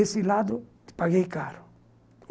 Esse lado, paguei caro.